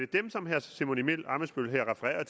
dem som herre simon emil ammitzbøll her refererer